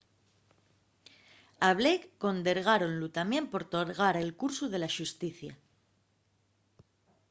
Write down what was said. a blake condergáronlu tamién por torgar el cursu de la xusticia